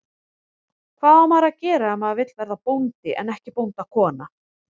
Hvað á maður að gera ef maður vill verða bóndi en ekki bóndakona?